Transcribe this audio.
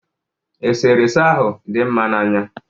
Eserese ahụ dị mma n'anya